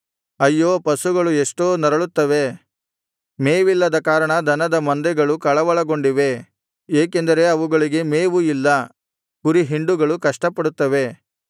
ಅಯ್ಯೋ ಪಶುಗಳು ಎಷ್ಟೋ ನರಳುತ್ತವೆ ಮೇವಿಲ್ಲದ ಕಾರಣ ದನದ ಮಂದೆಗಳು ಕಳವಳಗೊಂಡಿವೆ ಏಕೆಂದರೆ ಅವುಗಳಿಗೆ ಮೇವು ಇಲ್ಲ ಕುರಿಹಿಂಡುಗಳು ಕಷ್ಟಪಡುತ್ತವೆ